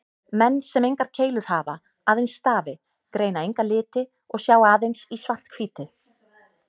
Menn sem engar keilur hafa, aðeins stafi, greina enga liti og sjá aðeins í svart-hvítu.